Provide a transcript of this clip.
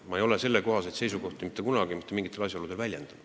Ma ei ole selliseid seisukohti mitte kunagi mitte mingitel asjaoludel väljendanud.